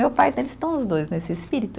Meu pai, eles estão os dois nesse espírito.